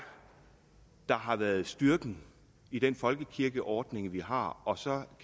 der har været styrken i den folkekirkeordning vi har og så